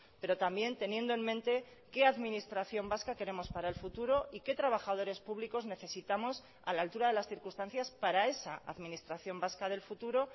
pero también teniendo en mente qué administración vasca queremos para el futuro y qué trabajadores públicos necesitamos a la altura de las circunstancias para esa administración vasca del futuro